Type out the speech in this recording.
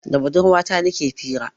Da budurwa ta nike fira